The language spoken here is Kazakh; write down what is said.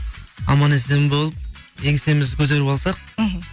аман есен болып еңсемізді көтеріп алсақ мхм